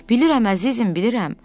Bilirəm əzizim, bilirəm.